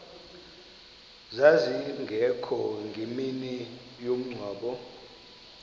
zazingekho ngemini yomngcwabo